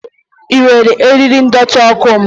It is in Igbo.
Ị were eriri ndọtị ọkụ m?